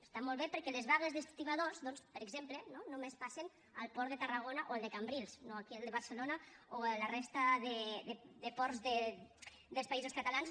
està molt bé perquè les vagues d’estibadors per exemple no només passen al port de tarragona o al de cambrils no aquí al de barcelona o a la resta de ports dels països catalans